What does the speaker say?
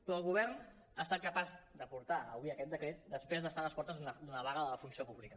però el govern ha estat capaç de portar avui aquest decret després d’estar a les portes d’una vaga de la funció pública